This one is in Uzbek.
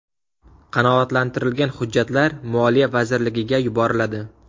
Qanoatlantirilgan hujjatlar Moliya vazirligiga yuboriladi.